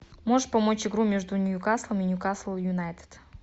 можешь помочь игру между ньюкаслом и ньюкасл юнайтед